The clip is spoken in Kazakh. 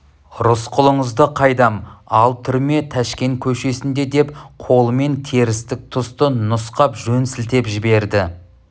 рысқұлыңызды қайдам ал түрме тәшкен көшесінде деп қолымен терістік тұсты нұсқап жөн сілтеп жіберді